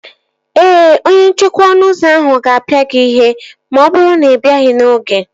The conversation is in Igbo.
Ee, onye nchekwa ọnụ ụzọ ahụ ga-apịa gị ihe ma ọ bụrụ na ị bịaghị n'oge